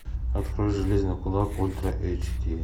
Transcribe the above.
открой железный кулак ультра эйч ди